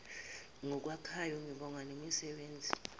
ngokwakhayo ngibonga nezisebenzi